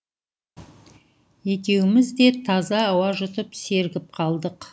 екеуіміз де таза ауа жұтып сергіп қалдық